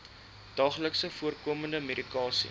daagliks voorkomende medikasie